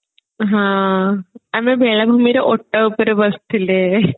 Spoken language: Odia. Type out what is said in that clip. ହଁ ଆମେ ବେଳାଭୂମିରେ ଓଟ ଉପରେ ବସିଥିଲେ